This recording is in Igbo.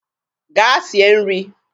Gaa sie nri.